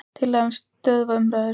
Tillaga um að stöðva umræður.